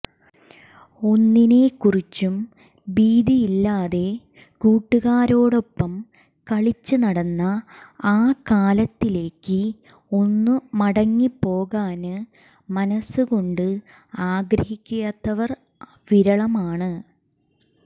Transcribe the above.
ഒന്നിനെ കുറിച്ചും ഭീതിയില്ലാതെ കൂട്ടുകാരോടൊപ്പം കളിച്ച് നടന്ന ആ കാലത്തിലേക്ക് ഒന്ന് മടങ്ങി പോകാന് മനസ്സ് കൊണ്ട് ആഗ്രഹിക്കാത്തവർ വിരളമാണ്